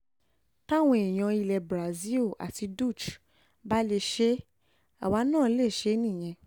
táwọn èèyàn ilẹ̀ cs] brazil àti dutch bá lè ṣe é àwa náà lè ṣe é nìyẹn